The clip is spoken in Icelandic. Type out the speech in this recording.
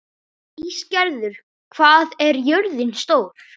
Ísgerður, hvað er jörðin stór?